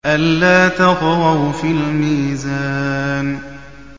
أَلَّا تَطْغَوْا فِي الْمِيزَانِ